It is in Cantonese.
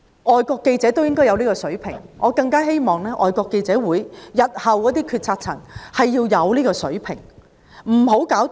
外國記者亦應有此水平，我更希望外國記者會日後的決策層會有此水平，不會引起......